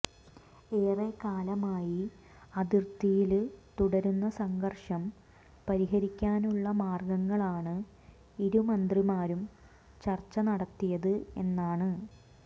ഏറെക്കാലമായി അതിര്ത്തിയില് തുടരുന്ന സംഘര്ഷം പരിഹരിക്കാനുളള മാര്ഗങ്ങളാണ് ഇരുമന്ത്രിമാരും ചര്ച്ച നടത്തിയത് എന്നാണ്